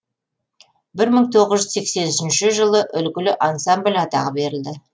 бір мың тоғыз жүз сексен үшінші жылы үлгілі ансамбль атағы берілді